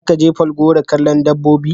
Za ka je Falgore kallon dabbobi?